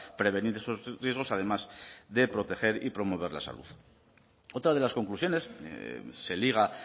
prevenir esos riesgos además de proteger y promover la salud otra de las conclusiones se liga